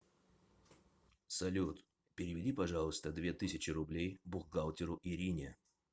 салют переведи пожалуйста две тысячи рублей бухгалтеру ирине